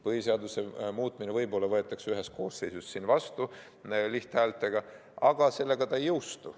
Põhiseaduse muudatus võib-olla võetakse ühes koosseisus vastu lihthäältega, aga sellega see ei jõustu.